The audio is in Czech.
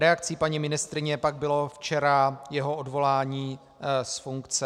Reakcí paní ministryně pak bylo včera jeho odvolání z funkce.